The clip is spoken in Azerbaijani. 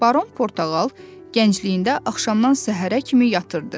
Baron Portağal gəncliyində axşamdan səhərə kimi yatırdı.